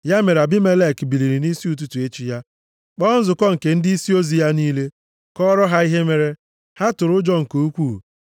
Ya mere, Abimelek biliri nʼisi ụtụtụ echi ya, kpọọ nzukọ nke ndịisi ozi ya niile, kọọrọ ha ihe mere. Ha tụrụ ụjọ nke ukwuu.